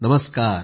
नमस्कार